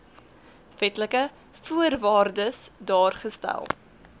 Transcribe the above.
wetlike voorwaardes daargestel